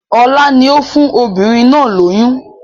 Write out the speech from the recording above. Ọlá ni ó fún obìnrin náà lóyún